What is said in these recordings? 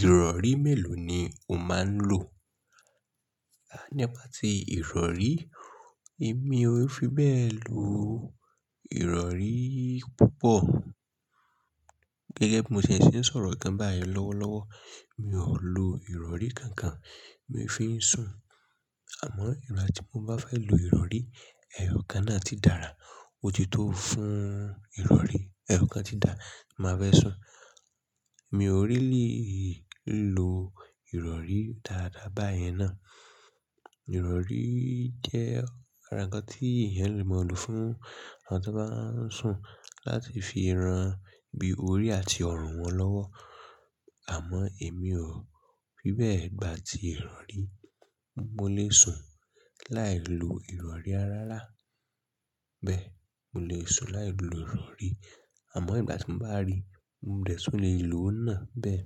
Ìrọ̀rí mélòó ni o máa ń lò? Nípa ti ìrọ̀rí, èmi ò fi bẹ́ẹ̀ lo ìrọ̀rí púpọ̀. Gẹ́gẹ́ bí mo ṣe ń sọ̀rọ̀ gan báyìí lọ́wọ́lọ́wọ́, mi ò lo ìrọ̀rí kankan, mi fi ń sùn. Àmọ́ ìgbà tí mo bá fẹ́ lo ìrọ̀rí, ẹ̀yọ̀ kan náà ti dára, ó ti tó fún ìrọ̀rí, ẹ̀yọ̀ kan ti dára, màá fẹ́ sùn. Mi ò rí lílo ìrọ̀rí dáadáa báyen náà. Ìrọ̀rí jẹ́ nǹkan tí èèyàn lè mọ̀lo fún àwọn tí wọ́n ń sùn láti fi ran bí orí àti ọrùn wọn lọ́wọ́. Àmọ́ èmi ò fi bẹ́ẹ̀ gbá ti ìrọ̀rí. Mo lè sùn láì lo ìrọ̀rí rárá. Bẹ́ẹ̀, mo lè sùn láì lo ìrọ̀rí. Àmọ́ ìgbà tí mo bá rí, mo dẹ̀ tún lè lò ó náà. Bẹ́ẹ̀,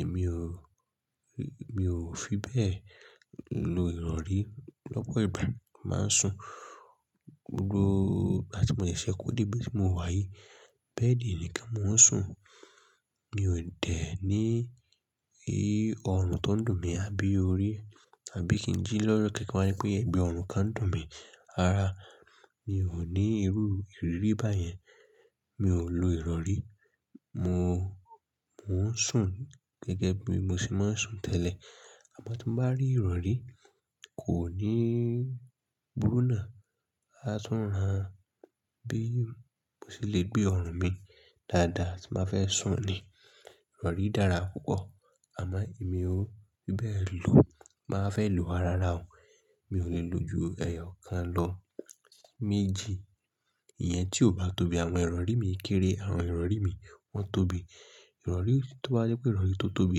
èmi ò, èmi ò fi bẹ́ẹ̀ lo ìrọ̀rí lọ́pọ̀ ìgbà mo máa ń sùn. Gbogbo láti mo ṣẹ̀ṣẹ̀ ko dé bí tí mo wá yìí, bẹ́ẹ̀dì nìkan mo ń sùn. Mi ò dẹ̀ ní i ọrùn tó ń dùn mi àbí orí, àbí kí n jí lọ́jokọ kan wa wípé ẹgbẹ́ ọrùn kan ń dùn mi rara. Mi ò ní irú ìrírí báyẹn. Mi ò lo ìrọ̀rí, mo, mo ń sùn gẹ́gẹ́ bí mo ṣe máa ń sùn tẹ́lẹ̀. Àmọ́ tí mo bá rí ìrọ̀rí kò ní buru ná á tún ran bí mo ṣe lè gbé ọrùn mi dáadáa tí mbá fẹ́ sùn ni. Ìrọ̀rí dára púpọ̀, àmọ́ èmi ò fi bẹ́ẹ̀ lò. Màá fẹ́ lò ara rà ó. Mi ò lè lo ju ẹ̀yọ̀ kan lọ. Méjì, ìyẹn tí ó bá tóbi, àwọn ìrọ̀rí mi kéré, àwọn ìrọ̀rí mi wọ́n tóbi. Ìrọ̀rí tó bá jẹ́ pé ìrọ̀rí tó tóbi,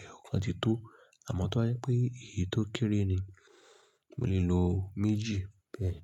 ẹ̀yọ̀ kan ti tó. Àmọ́ tí ọ́ba jẹ́ pé èyí tó kéré ni, mo lè lo méjì. Bẹ́ẹ̀.